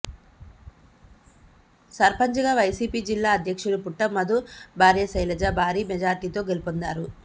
సర్పంచ్ గా వైసీపి జిల్లా అధ్యక్షుడు పుట్ట మధు భార్య శైలజ భారీ మెజార్టీతో గెలుపొందారు